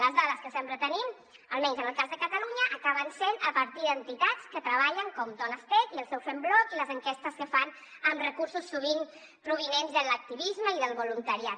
les dades que sempre tenim almenys en el cas de catalunya acaben sent a partir d’entitats que hi treballen com donestech i el seu fembloc i les enquestes que fan amb recursos sovint provinents de l’activisme i del voluntariat